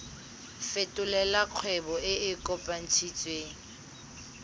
fetolela kgwebo e e kopetswengcc